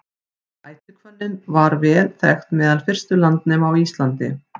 ætihvönnin var vel þekkt meðal fyrstu landnema á íslandi